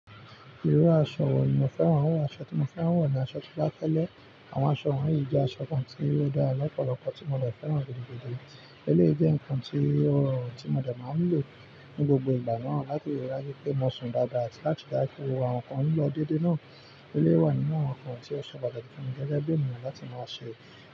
Irú aṣọ wò ní mo fẹ́ran wọ̀? Aṣọ tí mo fẹ́ wọ̀ ni aṣọ tío ba fẹlẹ. Àwọn aṣọ wọ̀nyí jẹ́ aṣọ kan tí ó dára lọ́pọ̀lọpọ̀ tí mo dè fẹ́ran gidi gidi. Eléyìí jẹ́ ǹkan tí ọ̀ rọ̀run tí mo de máa ń lò ní gbogbo ìgbà náà láti ríi dájú pé mo sùn dáadáa àti láti dájú pé àwọn ǹkan ònílò dédé náà. Eléyìí wà nínú àwọn ǹkan tí ó ṣe pataki fún mi gẹ́gẹ́ bí ènìyàn láti máa ṣẹ̀